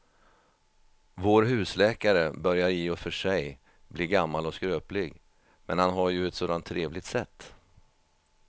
Vår husläkare börjar i och för sig bli gammal och skröplig, men han har ju ett sådant trevligt sätt!